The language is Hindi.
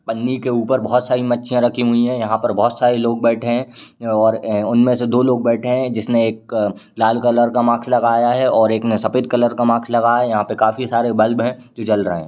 पन्नी के ऊपर बहुत सारी मच्छियाँ रखी हुई हैं। यहाँ पर बोहत सारे लोग बैठे हैं और उनमे से दो लोग बैठे हैं जिसने एक लाल कलर का माक्स लगाया हैं और एक ने सफ़ेद कलर का माक्स लगाया है । यहाँ पर काफी सारे बल्ब हैं जो जल रहे हैं।